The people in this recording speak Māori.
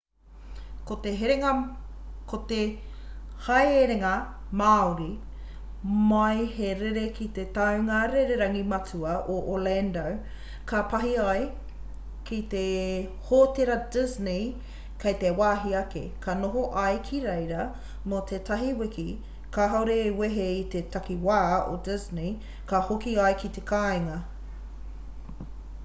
ko te haerenga māori mai he rere ki te tāunga rererangi matua o orlando ka pahi ai ki te hōtera disney kei te wāhi ake ka noho ai ki reira mō te tahi wiki kāore e wehe i te takiwā o disney ka hoki ai ki te kāinga